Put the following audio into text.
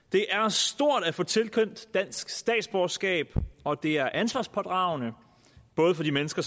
det er stort at få tilkendt dansk statsborgerskab og det er ansvarspådragende både for de mennesker